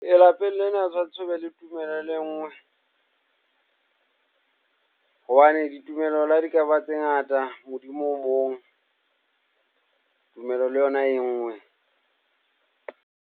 Lapeng lena o tshwantse o be le tumello le e nngwe hobane ditumelo la di ka ba tse ngata, Modimo o mong, tumelo le yona e nngwe.